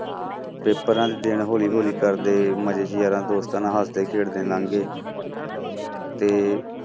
paper ਦੇ ਦਿਨ ਹੌਲੀ ਹੌਲੀ ਕਰਦੇ ਮਜ਼ੇ 'ਚ ਯਾਰਾਂ ਦੋਸਤਾਂ ਨਾਲ ਹੱਸਦੇ ਖੇਡਦੇ ਲੰਘ ਗਏ ਤੇ